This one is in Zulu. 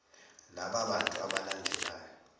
laba bantu abalandelayo